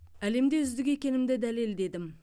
әлемде үздік екенімді дәлелдедім